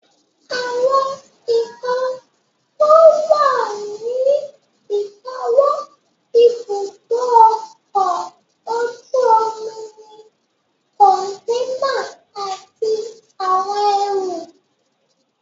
Àwọn nǹkan tó wà ní ìkáwọ́ ibùdó ọkọ̀ ojú omi ni kọ̀ǹténà àti àwọn ẹrù